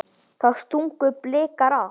Þá stungu Blikar af.